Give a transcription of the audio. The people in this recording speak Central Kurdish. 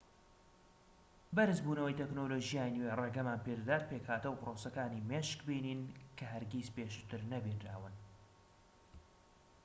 بەرزبوونەوەی تەکنەلۆژیای نوێ ڕێگەمان پێدەدات پێکهاتەو پرۆسەکانی مێشک ببینین کە هەرگیز پێشووتر نەبینراون